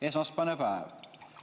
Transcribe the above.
Esmaspäevane päev.